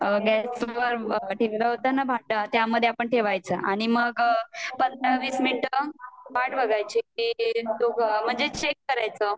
gas वर जे ठेवलं होत्त न भांड त्या मध्ये आपण ठेवायच आणि मग पंधरा वीस मिनट वाट बघायची म्हणजे चेक करायचं